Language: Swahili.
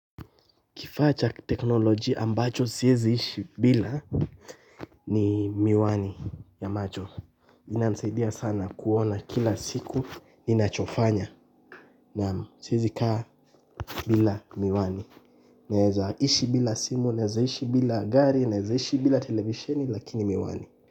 Kifaa cha kiteknolojia ambacho siyezi ishi bila ni miwani ya macho. Inanisaidia sana kuona kila siku. Ninachofanya naam, siyezi kaa bila miwani. Naeza ishi bila simu, naeza ishi bila gari, naeza ishi bila televisheni lakini miwani.